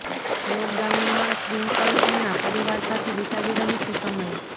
લોકડાઉનમાં ટ્વિન્કલ ખન્ના પરિવાર સાથે વિતાવી રહી છે સમય